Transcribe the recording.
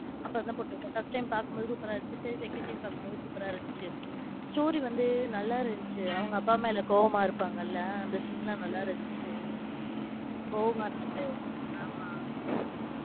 அப்ப first time பாக்கும்போது சூப்பர்ரா இருந்துச்சு. சரி second time பாக்கும்போது சூப்பர்ரா இருந்துச்சு story வந்து நல்லா இருந்துச்சு. அவங்க அப்பா மேல கோவமா இருப்பாங்கள அந்த scene லாம் நல்லா இருந்துச்சு. கோவமா இருந்த சீன் ஆமா.